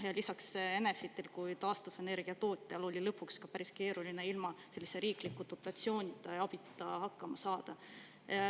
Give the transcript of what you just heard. Lisaks, Enefitil kui taastuvenergiatootjal oli lõpuks ka päris keeruline ilma riikliku dotatsiooni ja abita hakkama saada.